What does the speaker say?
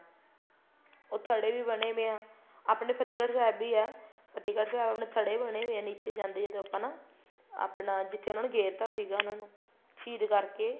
ਉਹ ਥੜੇ ਵੀ ਬਣੇ ਪਏ ਹੈ ਆਪਣੇ ਫਤਿਹਗੜ੍ਹ ਸਾਹਿਬ ਵੀ ਹੈ ਫਤਿਹਗੜ੍ਹ ਸਾਹਿਬ ਆਪਣੇ ਥੜੇ ਬਣੇ ਪਏ ਹੈ ਨੀਚੇ ਜਾਂਦੇ ਜਦੋਂ ਆਪਾਂ ਨਾ ਆਪਣਾ ਜਿੱਥੇ ਉਹਨਾ ਨੇ ਗੇਰਤਾ ਸੀਗਾ ਉਹਨਾ ਨੂੰ ਸ਼ਹੀਦ ਕਰਕੇ